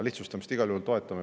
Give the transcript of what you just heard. Lihtsustamist me igal juhul toetame.